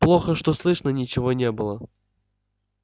плохо что слышно ничего не было